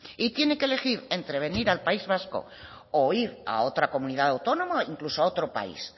y tiene que elegir entre venir al país vasco o ir a otra comunidad autónoma incluso a otro país